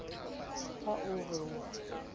ha o re o a